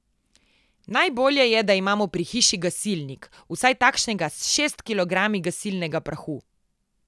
Najbolje je, da imamo pri hiši gasilnik, vsaj takšnega s šest kilogrami gasilnega prahu.